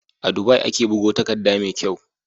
A Dubai ake bugo takadda me kyau